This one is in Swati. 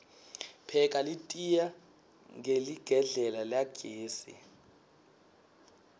pheka litiya hqeligedlela lagesi